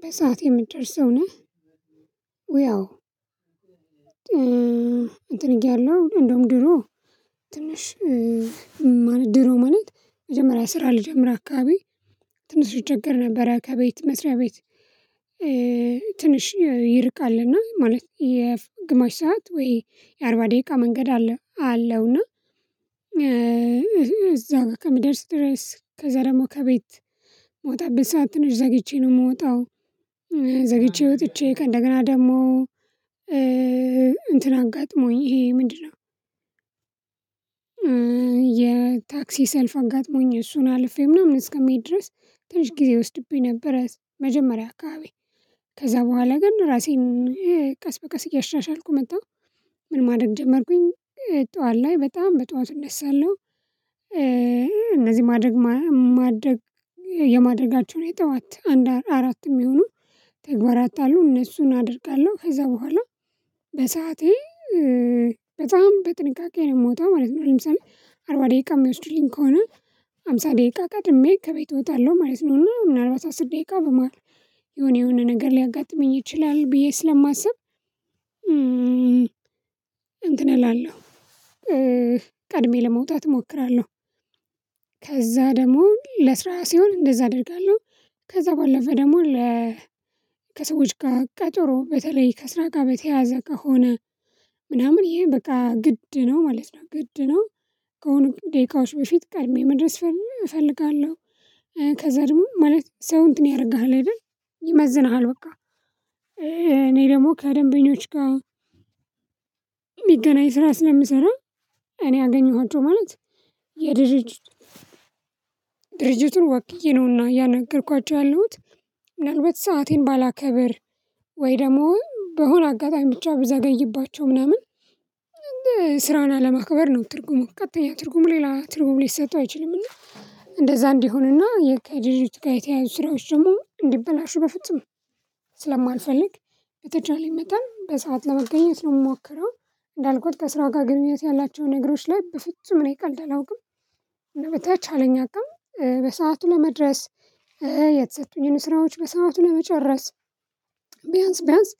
በሰአት የምትጨርስ ሰው ነህ። ውይ አወ። እንትን እያለሁ እንደውም ድሮ ትንሽ ማለት ድሮ ማለት የመጀመሪያ ስራ ልጀምር አካባቢ ትንሽ እቸገር ነበረ ከቤት መስሪያ ቤት። ትንሽ ይርቃል እና ማለት የግማሽ ሰዓት ወይ የአርባ ደቂቃ መንገድ አለ አለው። እና እዛ ከምደርስ ትሬስ ከዛ ደግሞ ከቤት የምወጣበት ሰዓት ትንሽ ዘግይቼ ነው የምወጣው። ዘግይቼ ወጥቼ ከእንደገና ደግሞ እንትን አጋጥሞኝ ይሄ ምንድነው? የታክሲ ሰልፍ አጋጥሞኝ እሱን አልፌ ምናምን እስከሚሄድ ድረስ ትንሽ ጊዜ ይወስድብኝ ነበረ። መጀመሪያ አካባቢ ከዛ በኋላ ግን ራሴን ቀስ በቀስ እያሻሻልኩ መጣሁ። ምን ማድረግ ጀመርኩኝ ጠዋት ላይ በጣም በጠዋቱ እነሳለሁ። እነዚህ ማድረግ የማድረጋቸውን የጠዋት አንድ አራት የሚሆነው ተግባራት አሉ እነሱን አደርጋለሁ ከዛ በኋላ በሰአቴ በጣም በጥንቃቄ ነው የምወጣው ማለት ነው። ለምሳሌ አርባ ደቂቃ የሚወስዱልኝ ከሆነ አምሳ ደቂቃ ቀጥድሜ ከቤት እወጣለሁ ማለት ነው። እና ምናልባት አስር ደቂቃ በመሃል የሆነ የሆነ ነገር ሊያጋጥመኝ ይችላል ብዬ ስለማስብ። እንትን እላለሁ ቀድሜ ለመውጣት እሞክራለሁ። ከዛ ደግሞ ለስራ ሲሆን እንደዛ አደርጋለሁ። ከዛ ባለፈ ደግሞ ለ ከሰዎች ጋር ቀጠሮ በተለይ ከስራ ጋር በተያያዘ ከሆነ ምናምን ይሄ በቃ ግድ ነው ማለት ነው ግድ ነው። ከሆነ ደቂቃዎች በፊት ቀድሜ መድረስ እፈልጋለሁ። ከዛ ደግሞ ማለት ሰው እንትን ያደርግሃል አይደል? ይመዝንሃል በቃ እኔ ደግሞ ከደንበኞች ጋር የሚገናኝ ስራ ስለምሰራ። እኔ አገኘኋቸው ማለት የድርጅት ድርጅቱን ወክዬ ነውና ያእናገርኳቸው ያለሁት። ምናልባት ሰአቴን ባላከብር ወይ ደግሞ በሆነ አጋጣሚ ብቻ ብዘገይባቸው ምናምን ስራን አለማክበር ነው ትርጉሙ ቀጥተኛ ትርጉሙ ሌላ ትርጉሙ ሊሰጠው አይችልም። እና እንደዛ እንዲሆንና የከድርጅቱ ጋር የተያያዙ ስራዎች ደግሞ እንዲበላሹ በፍጹም ስለማልፈልግ በተቻለኝ መጠን በሰአት ለመገኘት ነው የምሞከረው። እንዳልኩት ከስራ ጋር ግንኙነት ያላቸውን ነገሮች ላይ በፍጹም እኔ ቀልድ አላውቅም። እና በተቻለኝ አቅም በሰአቱ ለመድረስ የተሰጡኝን ስራዎች በሰአቱ ለመጨረስ። ቢያንስ ቢያንስ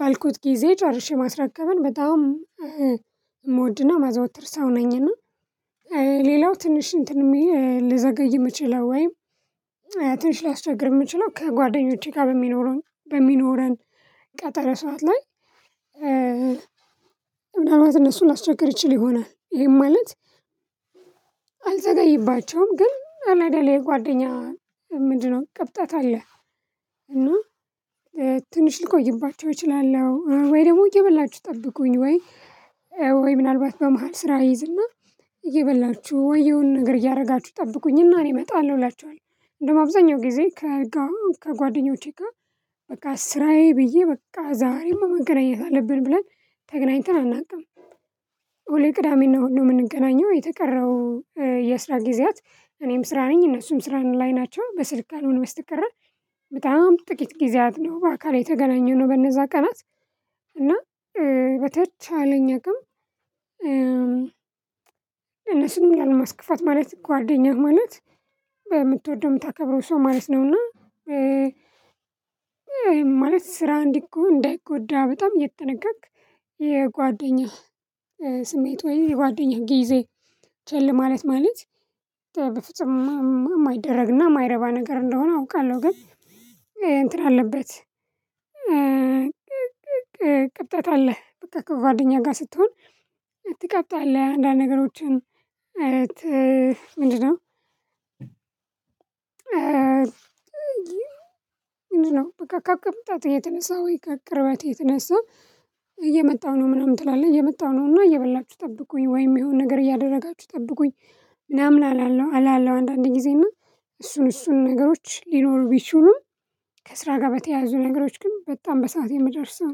ባልኩት ጊዜ ጨርሼ ማስረከብን በጣም ምወድና ማዘወትር ሰው ነኝና። ሌላው ትንሽ እንትን የሚል ልዘገይ መችለው ወይም ትንሽ ሊያስቸግር የምችለው ከጓደኞቼ ጋር በሚኖረን በሚኖረን ቀጠሮ ሰዓት ላይ። ምናልባት እነሱ ላስቸግር ይችል ይሆናል ይሄን ማለት። አልዘጋይባቸውም ግን አለ አይደል ይሄ የጓደኛ ምንድነው ቀብጠት አለ። እና ትንሽ ልቆይባቸው እችላለሁ ወይ ደግሞ እየበላችሁ ጠብቁኝ ወይ? ወይ ምናልባት በመሃል ስራ እይዝና እየበላችሁ ወይ የሆነ ነገር እያደረጋችሁ ጠብቁኝ እና እኔ እመጣለሁ እላቸዋለሁ። እንደውም አብዛኛው ጊዜ ከጓደኞቼ ጋር በቃ ስራዬ ብዬ በቃ ዛሬም መገናኘት አለብን ብለን ተገናኝተን አናውቅም። ሁሌ ቅዳሜና ሁሉ የምንገናኘው የተቀረው የስራ ጊዜያት እኔም ስራ ነኝ እነሱም ስራ ላይ ናቸው በስልክ ካልሆነ በስተቀረ በጣም ጥቂት ጊዜያት ነው በአካል የተገናኘው ነው። በነዛ ቀናት እና በተቻለኝ አቅም። እነሱን ላለማስከፋት ማለት ጓደኛህ ማለት ምትወደው ምታከብረው ሰው ማለት ነውና። ማለት ስራ እንዲህ እኮ እንዳይጎዳ በጣም እየተጠነቀቅህ የጓደኛህ ስሜት ወይ የጓደኛህ ጊዜ ቸል ማለት ማለት በፍጹም የማይደረግና የማይረባ ነገር እንደሆነ አውቃለሁ። ግን እንትን አለበት። ቅብጠት አለ በቃ ከጓደኛ ጋር ስትሆን ትቀብጣለህ አንዳንድ ነገሮችን ምንድነው? ምንድነው? በቃ ቅብጠት የተነሳው ወይ ከቅርበት እየመጣሁ ነው ምናምን ትላለህ እየመጣሁ ነውና እየበላችሁ ጠብቁኝ ወይ የሆነ ነገር እያደረጋችሁ ጠብቁኝ። ምናምን አላለው አላለው አንዳንዴ ጊዜ እና እሱን እሱን ነገሮች ሊኖሩ ቢችሉም ከስራ ጋር በተያያዙ ነገሮች ግን በጣም በሰአት የምደርስ ሰው ነኝ